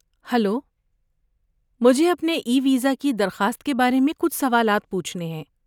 hello, مجھے اپنے e visa کی درخواست کے بارے میں کچھ سوالات پوچھنے ہیں